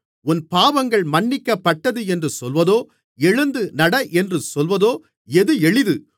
உன் பாவங்கள் மன்னிக்கப்பட்டது என்று சொல்வதோ எழுந்து நட என்று சொல்வதோ எது எளிது